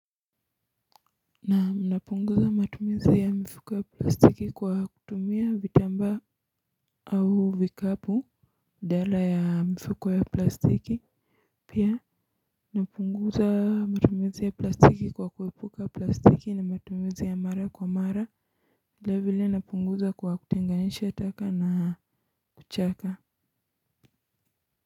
Naam napunguza matumizi ya mifuko ya plastiki kwa kutumia vitamba, au vikapu badala ya mifuko ya plastiki. Pia napunguza matumizi ya plastiki kwa kuwepuka plastiki, na matumizi ya mara kwa mara vile vile napunguza kwa kutenganisha taka na kuchaka.